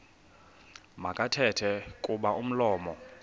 makathethe kuba umlomo